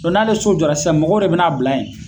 n'ale so jɔra sisan mɔgɔw de bɛna bila yen